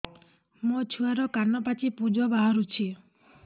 ମୋ ଛୁଆର କାନ ପାଚି ପୁଜ ବାହାରୁଛି